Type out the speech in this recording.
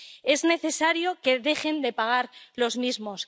Es necesario que dejen de pagar los mismos.